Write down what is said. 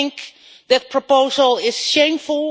I think that proposal is shameful.